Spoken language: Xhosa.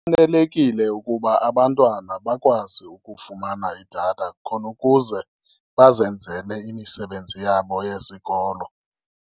Kufanelekile ukuba abantwana bakwazi ukufumana idatha khona ukuze bazenzele imisebenzi yabo yesikolo.